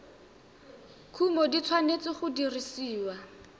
kumo di tshwanetse go dirisiwa